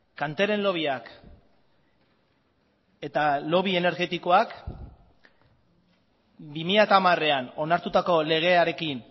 kanteren lobbyak eta lobby energetikoak bi mila hamarean onartutako legearekin